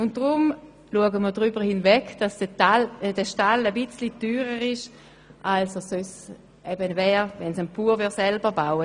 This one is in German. Deshalb sehen wir darüber hinweg, dass der Stall ein bisschen teurer ist, als wenn ein Bauer selber einen Stall baut.